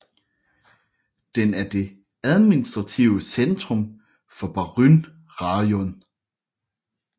Den er det administrative centrum for Buryn rajon